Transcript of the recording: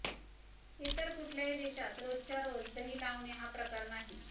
इतर कुठल्याही देशात रोजच्या रोज दही लावणे हा प्रकार नाही